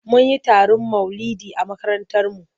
Mun yi taron maulidi a makarantarmu.